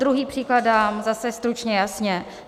Druhý příklad dám zase stručně jasně.